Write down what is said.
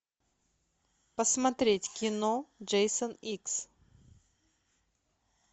посмотреть кино джейсон икс